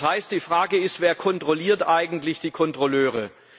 Das heißt, die Frage ist Wer kontrolliert eigentlich die Kontrolleure?